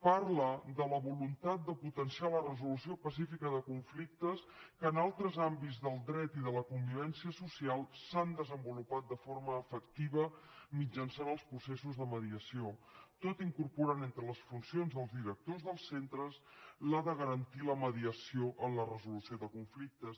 parla de la voluntat de potenciar la resolució pacífica de conflictes que en altres àmbits del dret i de la convivència social s’han desenvolupat de forma efectiva mitjançant els processos de mediació tot incorporant entre les funcions dels directors dels centres la de garantir la mediació en la resolució de conflictes